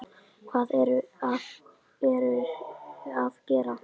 Hvað eruði að gera?